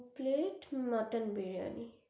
দু plate mutton biryani.